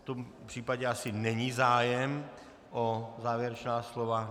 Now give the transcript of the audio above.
V tom případě asi není zájem o závěrečná slova.